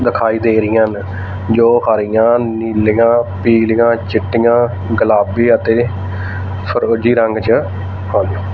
ਦਿਖਾਈ ਦੇ ਰੀਆਂ ਨੇ ਜੋ ਹਰੀਆਂ ਨੀਲੀਆਂ ਪੀਲੀਆਂ ਚਿੱਟੀਆਂ ਗੁਲਾਬੀ ਅਤੇ ਫ਼ਿਰੋਜੀ ਰੰਗ ਚ --